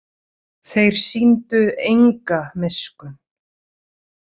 Þeir sýndu enga miskunn.